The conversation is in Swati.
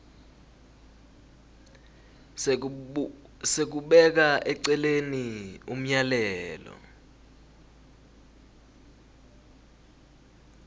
sekubeka eceleni umyalelo